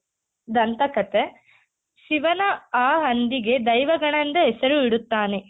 ದಂತಕಥೆ ಶಿವನ ಆ ಹಂದಿಗೆ ದೈವಗಣ ಎಂದು ಹೆಸರು ಇಡುತ್ತಾನೆ.